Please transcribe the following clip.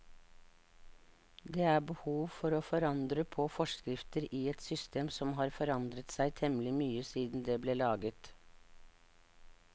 Det er behov for å forandre på forskrifter i et system som har forandret seg temmelig mye siden det ble laget.